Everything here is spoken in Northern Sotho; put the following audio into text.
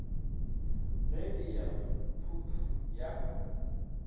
ga e ya phuphu ya